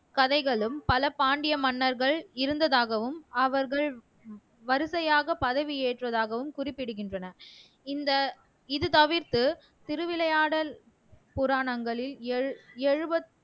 கதைகளும் பல பாண்டிய மன்னர்கள் இருந்ததாகவும் அவர்கள் வரிசையாக பதவி ஏற்றதாகவும் குறிப்பிடுகின்றனர் இந்த இது தவிர்த்து திருவிளையாடல் புராணங்களில் எல் ஏழுப